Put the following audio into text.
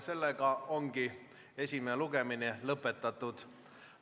Esimene lugemine ongi lõpetatud.